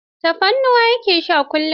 Tafarnuwa ya ke sha kullum.